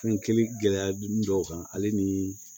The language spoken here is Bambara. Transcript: Fɛn kelen gɛlɛya dun dɔw kan ale nii